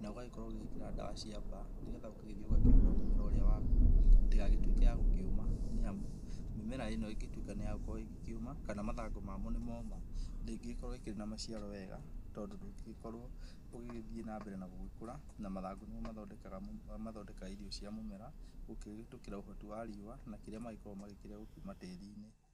na ũgagĩkorwo ũgĩgĩkĩra ndawa cia mbaa nĩgetha ũgagĩthĩĩ ũkahũra mũmera ũrĩa waku ndĩgagĩtuĩke yagũkĩũma, nĩamu mĩmera ĩno ĩngĩtuĩka nĩyakorwo ĩgĩkĩũma kana mathangũ mamo nĩ moma ndĩngĩgĩkorwo ĩkĩrĩ na maciaro wega tondũ ndũngĩgĩkorwo ũgĩgĩthĩĩ nambere na gũgĩkũra na mathangũ nĩmo mathondekaga irio cia mũmera gũkĩhĩtũkĩra ũhoti wa riũwa na kĩrĩa magĩkoragwo makĩrĩa kuma tĩri-inĩ.